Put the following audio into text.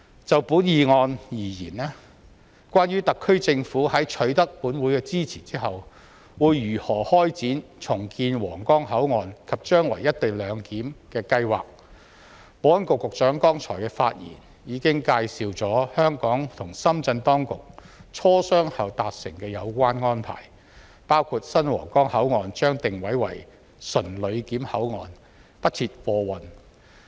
就本議案而言，關於特區政府在取得本會支持後，會如何開展重建皇崗口岸及將來"一地兩檢"的計劃，保安局局長剛才的發言已介紹香港和深圳當局磋商後達成的有關安排，包括新皇崗口岸將定位為純旅檢口岸，不設貨運。